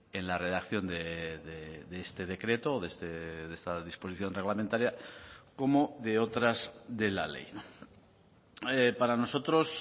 en la redacción de este decreto o de esta disposición reglamentaria como de otras de la ley para nosotros